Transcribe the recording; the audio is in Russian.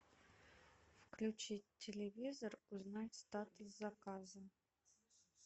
включить телевизор узнать статус заказа